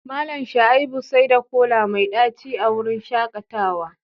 Mallam Shaibu saida kola mai daci a wurin shakatawa